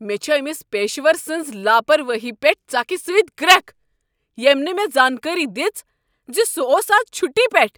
مےٚ چھ أمس پیشور سٕنٛز لاپروٲہی پیٹھ ژکھِ سۭتۍ گرٛکھ ییٚمہ نہٕ مےٚ زانکٲری دژ ز سہ اوس از چھٹی پیٹھ۔